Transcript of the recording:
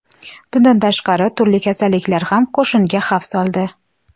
Bundan tashqari, turli kasalliklar ham qo‘shinga xavf soldi.